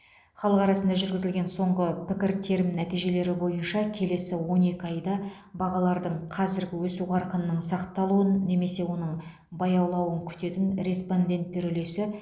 халық арасында жүргізілген соңғы пікіртерім нәтижелері бойынша келесі он екі айда бағалардың қазіргі өсу қарқынының сақталуын немесе оның баяулауын күтетін респонденттер үлесі